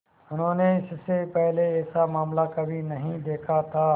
उन्होंने इससे पहले ऐसा मामला कभी नहीं देखा था